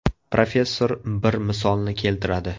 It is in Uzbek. Professor bir misolni keltiradi.